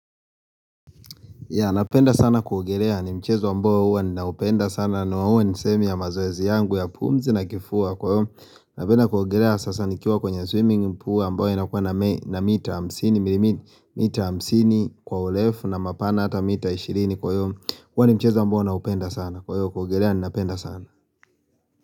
Napenda sana kuogerea ni mchezo amboa huwa ninaupenda sana na hua ni sehemu ya mazoezi yangu ya pumzi na kifua kwa hio Napenda kuogerea sasa nikiwa kwenye swimming pool amboa inakua na mita hamsini kwa urefu na mapana hata mita ishirini kwa hio huwa ni michezo amboa ninaupenda sana Kwa hio kuogerea ninapenda sana.